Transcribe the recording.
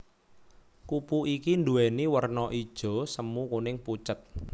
Kupu iki nduwèni werna ijo semu kuning pucet